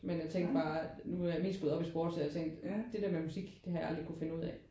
Men jeg tænkte bare nu er jeg mest gået op i sport så jeg tænkte det der med musik det har jeg aldrig kunne finde ud af